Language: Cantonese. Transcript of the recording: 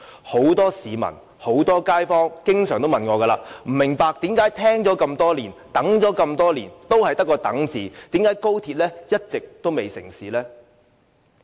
很多市民和街坊經常說，他們不明白為何聽了這麼多年，等了這麼多年，仍然在等？為何高鐵一直未能成事？